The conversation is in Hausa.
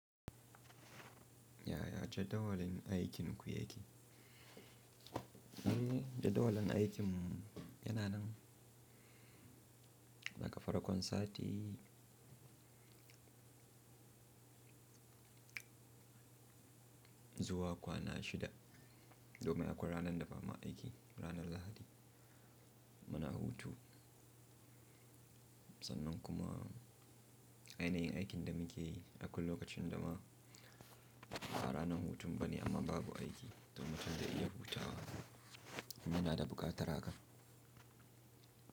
Yaya jadawalin aikin ku yake? Eh, jadawalin aikin yana nan daga farkon sati zuwa kwana shida, domin akwai ranar da ba ma aiki, ranar Lahadi. Mana hutu. Sannan kuma, ainihin aikin da muke yi a kullum lokacin da ma ba ranar hutun bane amma babu aiki, domin mutum da iya hutawa, in muna da buƙatar haka.